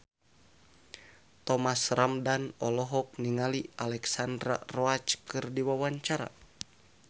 Thomas Ramdhan olohok ningali Alexandra Roach keur diwawancara